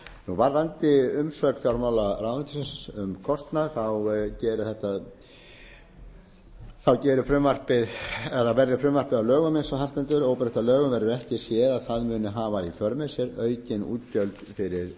varðandi umsögn fjármálaráðuneytisins um kostnað geri frumvarpið verði það að lögum eins og þar stendur óbreytt að lögum verður ekki séð að það muni hafa í för með sér aukin útgjöld fyrir